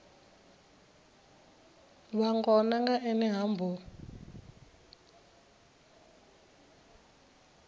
vhangona nga ene ha mbo